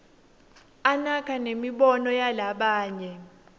anaka nemibono yalabanye